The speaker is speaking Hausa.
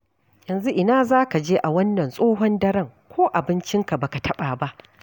Yanzu ina za ka je a wannan tsohon daren ko abincinka ba ka taɓa ba.